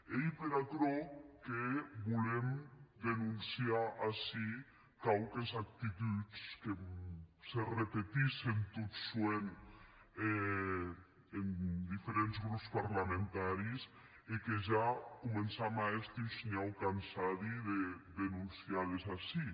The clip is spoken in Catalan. ei per aquerò que volem denonciar ací quauques actituds que se repetissen tot soent en diferents grops parlamentaris e que ja començam a èster un shinhau cansadi de denonciar les ací